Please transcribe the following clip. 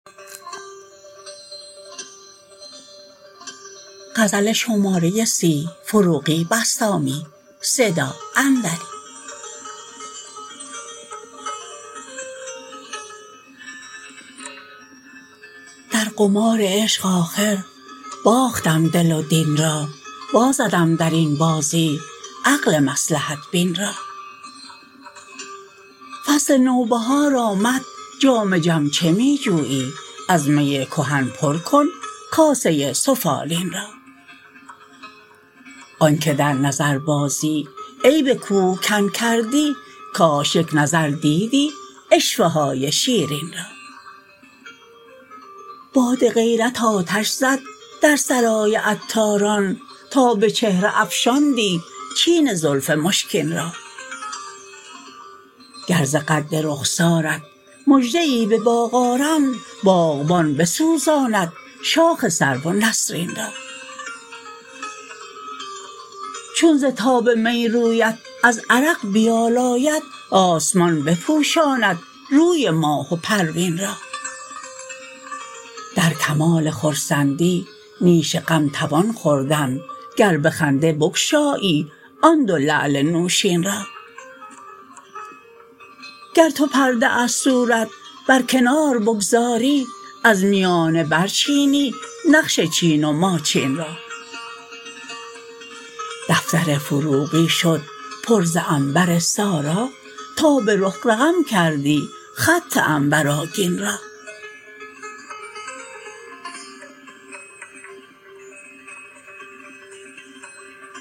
در قمار عشق آخر باختم دل و دین را وازدم در این بازی عقل مصلحت بین را فصل نوبهار آمد جام جم چه می جویی از می کهن پرکن کاسه سفالین را آن که در نظر بازی عیب کوه کن کردی کاش یک نظر دیدی عشوه های شیرین را باد غیرت آتش زد در سرای عطاران تا به چهره افشاندی چین زلف مشکین را گر ز قد رخسارت مژده ای به باغ آرند باغبان بسوزاند شاخ سرو و نسرین را چون ز تاب می رویت از عرق بیالاید آسمان بپوشاند روی ماه و پروین را در کمال خرسندی نیش غم توان خوردن گر به خنده بگشایی آن دو لعل نوشین را گر تو پرده از صورت برکنار بگذاری از میانه برچینی نقش چین و ماچین را دفتر فروغی شد پر ز عنبر سارا تا به رخ رقم کردی خط عنبرآگین را